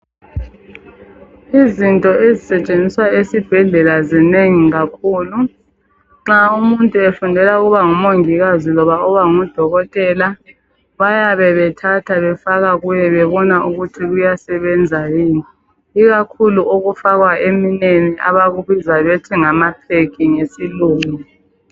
Izinto ezisetshenziswa esibhedlela zinengi kakhulu nxa umuntu efundela ukuba ngumongikazi loba ukuba ngudokotela bayabe bethatha befaka kuye bebona ukuthi kuyasebenza yini ikakhulu okufakwa eminweni abakubiza bethi ngama peg ngesilungu